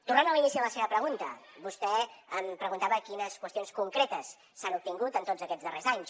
tornant a l’inici de la seva pregunta vostè em preguntava quines qüestions concretes s’han obtingut en tots aquests darrers anys